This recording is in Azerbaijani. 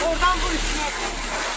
Oradan vur üstünə.